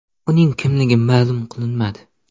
Uning kimligi ma’lum qilinmadi.